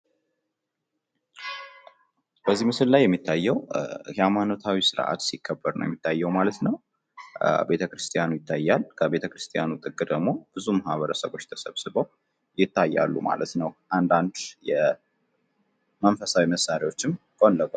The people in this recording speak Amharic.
በዚህ ምስል ላይ የሚታየው የሀይማኖታዊ ስርዓት ሲከበር ነው የሚታየው ማለት ነው ። ቤተ ክርስቲያኑ ይታያል ፣ ከቤተክርስትያኑ ጥግ ደግሞ ብዙ ማህበረሰቦች ተሰብስበው ይታያሉ ማለት ነው ። አንዳንድ የመንፈሳዊ መሳሪያዎችም ጎን ለጎን